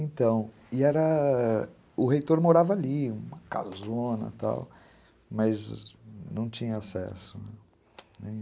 Então, e era... o reitor morava ali, uma casona e tal, mas não tinha acesso nenhum.